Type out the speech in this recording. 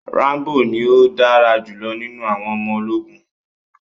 Rambo ní o dára julọ nínú àwọn ọmọ ológun.